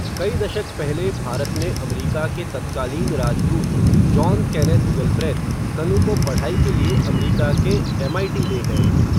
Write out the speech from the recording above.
कई दशक पहले भारत में अमरीका के तत्कालीन राजदूत, जॉन केनेथ गलब्रेथ, कनु को पढ़ाई के लिए अमरीका के एमआईटी ले गए.